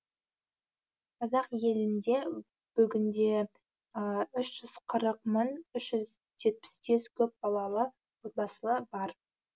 қазақ елінде бүгінде үш жүзқырық мың үш жүз жетпіс жеті көа балалы отбасы бар